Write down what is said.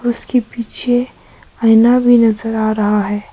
उसके पीछे आईना भी नजर आ रहा है।